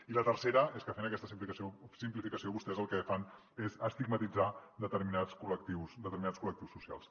i la tercera és que fent aquesta simplificació vostès el que fan és estigmatitzar determinats col·lectius socials